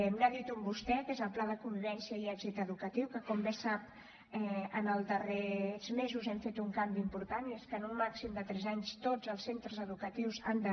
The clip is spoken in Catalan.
n’ha dit un vostè que és el projecte de convivència i èxit educatiu que com bé sap els darrers mesos hi hem fet un canvi important i és que en un màxim de tres anys tots els centres educatius han de